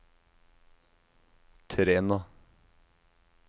Træna